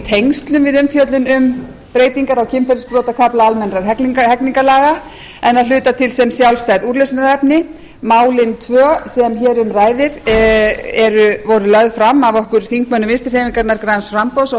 tengslum við umfjöllun um breytingar á kynferðisbrotakafla almennra hegningarlaga en að hluta til sem sjálfstæð úrlausnarefni málin tvö sem hér um ræðir voru lögð fram af okkur þingmönnum vinstri hreyfingarinnar græns framboðs og